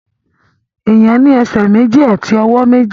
Èèyàn ní ẹsẹ̀ méjì àti ọwọ́ méjì